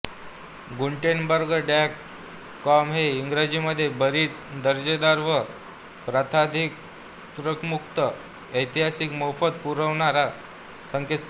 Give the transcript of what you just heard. Gutenberg dot com हे इंग्रजीमध्ये बरीच दर्जेदार व प्रताधिकारमुक्त ईसाहित्य मोफत पुरवणारं संकेतस्थळ